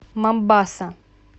момбаса